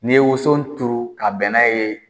N'i ye woso turu ka bɛnna ye